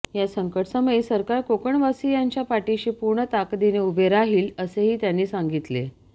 या संकटसमयी सरकार कोकणवासियांच्या पाठीशी पूर्ण ताकदीने उभे राहील असेही त्यांनी सांगितले